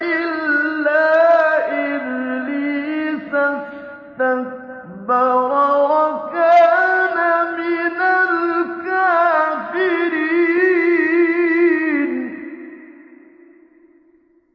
إِلَّا إِبْلِيسَ اسْتَكْبَرَ وَكَانَ مِنَ الْكَافِرِينَ